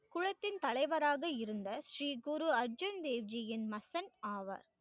குளத்தின் தலைவராக இருந்த, ஸ்ரீ குரு அர்ஜுன் தேவியின் மகன் ஆவர்.